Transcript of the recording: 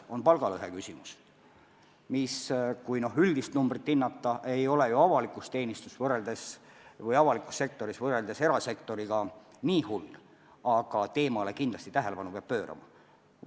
Näiteks palgalõhe küsimus, mis, kui üldist näitajat hinnata, ei ole avalikus teenistuses või avalikus sektoris võrreldes erasektoriga kuigi hull, aga teemale kindlasti tähelepanu peab pöörama.